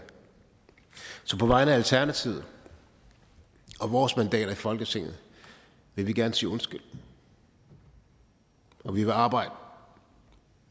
så på vegne af alternativet og vores mandater i folketinget vil vi gerne sige undskyld og vi vil arbejde